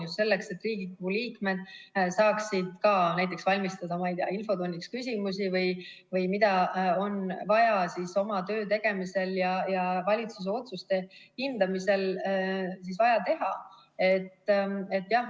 Just selleks, et Riigikogu liikmed saaksid ka näiteks valmistada ette infotunniks küsimusi või mida on vaja oma töö tegemiseks ja valitsuse otsuste hindamiseks.